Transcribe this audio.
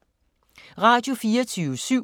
Radio24syv